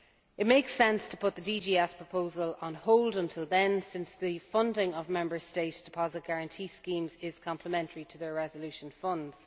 It makes sense to put the DGS proposal on hold until then, since the funding of Member State deposit guarantee schemes is complementary to their resolution funds.